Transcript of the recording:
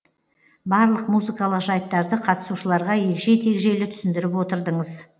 барлық музыкалық жайттарды қатысушыларға егжей тегжейлі түсіндіріп отырдыңыз